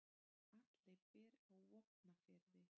Atli býr á Vopnafirði.